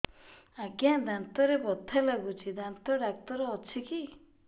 ଆଜ୍ଞା ଦାନ୍ତରେ ବଥା ଲାଗୁଚି ଦାନ୍ତ ଡାକ୍ତର ଅଛି କି